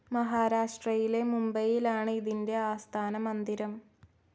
മഹാരാഷ്ട്രയിലെ മുംബൈയിലാണ് ഇതിന്റെ ആസ്ഥാനമന്ദിരം.